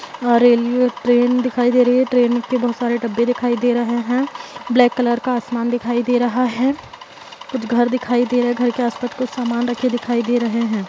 यह railway train दिखाई दे रही है ट्रेन के बहुत सारे डब्बे दिखाई दे रहे है ब्लैक कलर का आसमान दिखाई दे रहा है कुछ घर दिखाई दे रहा है घर के आस-पास कुछ सामान रख दिखाई दे रहे हैं।